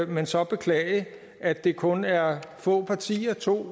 men så beklage at det kun er få partier to